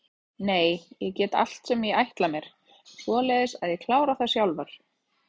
Nei en ég get allt sem ég ætla mér, svoleiðis að ég kláraði það sjálfur.